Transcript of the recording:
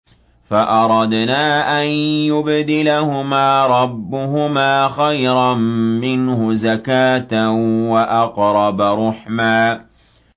فَأَرَدْنَا أَن يُبْدِلَهُمَا رَبُّهُمَا خَيْرًا مِّنْهُ زَكَاةً وَأَقْرَبَ رُحْمًا